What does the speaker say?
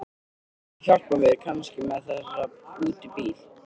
Þú hjálpar mér kannski með þessa út í bíl?